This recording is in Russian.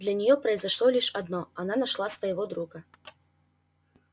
для неё произошло лишь одно она нашла своего друга